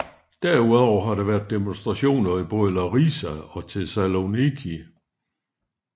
Derudover har der været demonstrationer i både Larisa og Thessaloniki